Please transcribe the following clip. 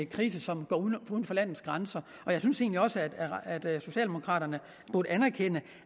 krise som går uden for landets grænser jeg synes egentlig også at socialdemokraterne burde anerkende